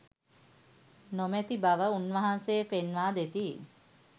නොමැති බව උන්වහන්සේ පෙන්වා දෙති.